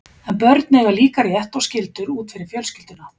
En börn eiga líka rétt og skyldur út fyrir fjölskylduna.